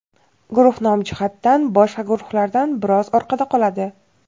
guruh nom jihatdan boshqa guruhlardan biroz orqada qoladi.